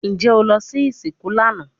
Njẹ o lọ si isinku lana?